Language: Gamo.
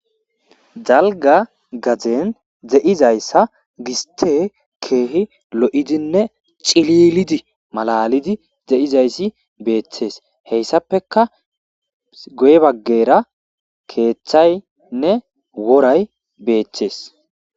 Dalgga gadden de'izaysa giste keehi lo'idinne cillilidii malalidi de'izaysi beettes hesapekka guye baggara keetththyinne woray beettes